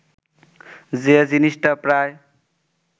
যে জিনিসটা প্রায়